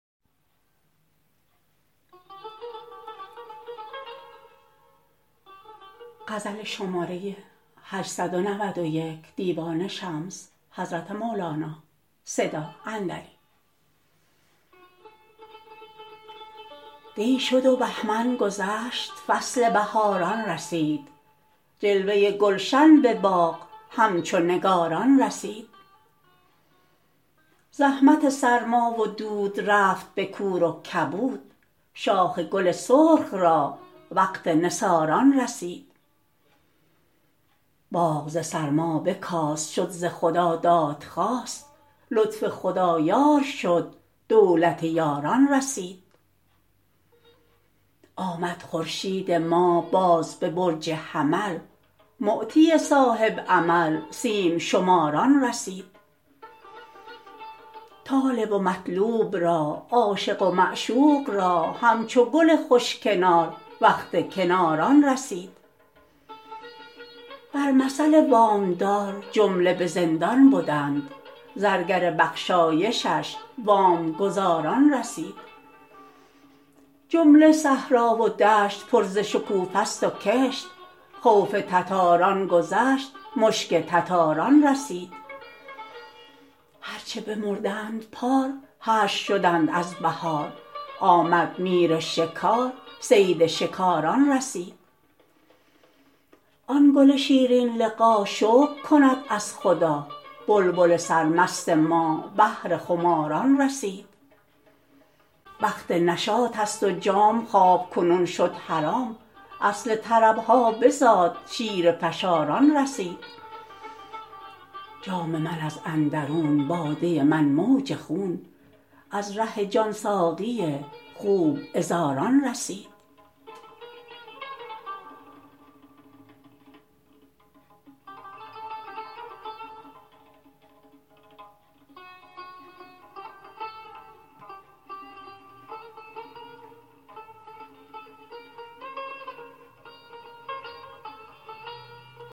دی شد و بهمن گذشت فصل بهاران رسید جلوه گلشن به باغ همچو نگاران رسید زحمت سرما و دود رفت به کور و کبود شاخ گل سرخ را وقت نثاران رسید باغ ز سرما بکاست شد ز خدا دادخواست لطف خدا یار شد دولت یاران رسید آمد خورشید ما باز به برج حمل معطی صاحب عمل سیم شماران رسید طالب و مطلوب را عاشق و معشوق را همچو گل خوش کنار وقت کناران رسید بر مثل وام دار جمله به زندان بدند زرگر بخشایشش وام گزاران رسید جمله صحرا و دشت پر ز شکوفه ست و کشت خوف تتاران گذشت مشک تتاران رسید هر چه بمردند پار حشر شدند از بهار آمد میر شکار صید شکاران رسید آن گل شیرین لقا شکر کند از خدا بلبل سرمست ما بهر خماران رسید وقت نشاط ست و جام خواب کنون شد حرام اصل طرب ها بزاد شیره فشاران رسید جام من از اندرون باده من موج خون از ره جان ساقی خوب عذاران رسید